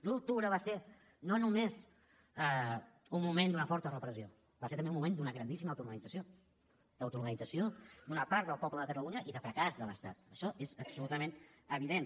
l’un d’octubre va ser no només un moment d’una forta repressió va ser també un moment d’una grandíssima autoorganització l’autoorganització d’una part del poble de catalunya i de fracàs de l’estat això és absolutament evident